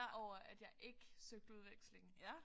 Over at jeg ikke søgte udveksling